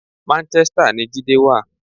Manchester ni Jídé wà.